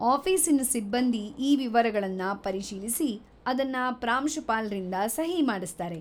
ಆಫೀಸಿನ ಸಿಬ್ಬಂದಿ ಈ ವಿವರಗಳನ್ನ ಪರಿಶೀಲಿಸಿ ಅದನ್ನ ಪ್ರಾಂಶುಪಾಲ್ರಿಂದ ಸಹಿ ಮಾಡಿಸ್ತಾರೆ.